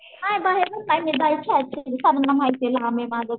नाही बाहेरून नाही मी जायचे शाळेत सगळ्यांना माहितीये